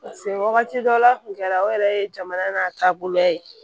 wagati dɔ la a kun kɛra o yɛrɛ ye jamana n'a taabolo ye